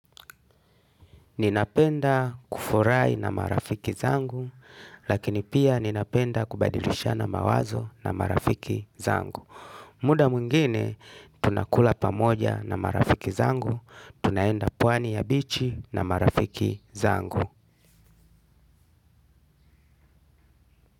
Ninapenda kufurahi na marafiki zangu, lakini pia ninapenda kubadilishana mawazo na marafiki zangu. Muda mwingine, tunakula pamoja na marafiki zangu, tunaenda pwani ya bichi na marafiki zangu.